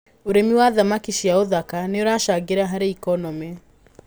ũrĩithia wa thamaki cia ũthaka nĩũracangĩra harĩ economĩ.